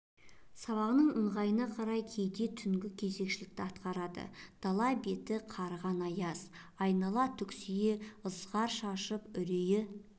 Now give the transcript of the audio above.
сабағының ыңғайына қарай кейде түнгі кезекшілікті атқарады дала беті қарыған аяз айнала түксие ызғар шашып үрейі